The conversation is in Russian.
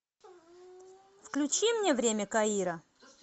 включи мне время каира